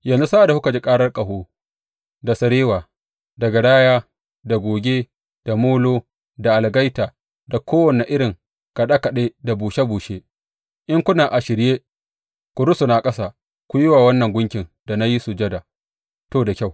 Yanzu sa’ad da kuka ji karar ƙaho, da sarewa, da garaya, da goge, da molo da algaita da kowane irin kaɗe kaɗe da bushe bushe, in kuna a shirye ku rusuna ƙasa ku yi wa wannan gunkin da na yi sujada, to, da kyau.